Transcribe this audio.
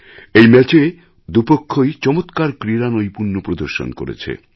এই ম্যাচে দুপক্ষই চমৎকার ক্রীড়ানৈপুণ্য প্রদর্শন করেছে